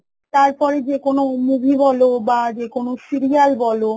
তারপরে যে কোন movie বল বা serial বল